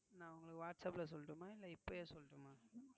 நான் உங்களுக்கு Whatsapp ல சொல்லட்டுமா இல்ல இப்பவே சொல்லட்டுமா?